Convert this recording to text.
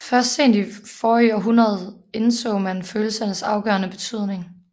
Først sent i forrige århundrede indså man følelsernes afgørende betydning